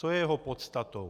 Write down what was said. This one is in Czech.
Co je jeho podstatou?